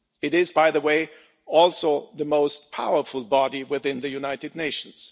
It is, by the way, also the most powerful body within the United Nations.